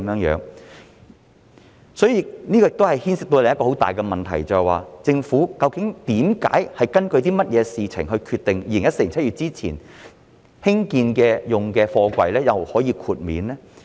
這亦牽涉到另一個很大的問題，政府究竟根據甚麼決定於2014年7月之前建成使用的貨櫃可以獲得豁免呢？